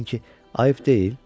İstədi desin ki, əyib deyil.